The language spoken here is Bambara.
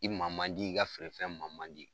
I ma man di i ka feerefɛn ma man di.